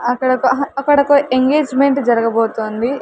అక్కడ ఒక అహ్ అక్కడ ఒక ఎంగేజ్మెంట్ జరగబోతోంది.